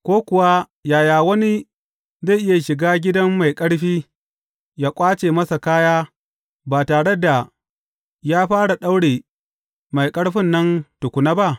Ko kuwa, yaya wani zai iya shiga gidan mai ƙarfi yă ƙwace masa kaya ba tare da ya fara daure mai ƙarfin nan tukuna ba?